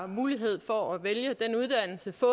mulighed for at vælge uddannelse få